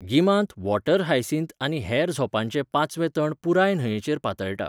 गिमांत water hyacinth आनी हेर झोंपांचें पाचवें तण पुराय न्हंयेचेर पातळटा.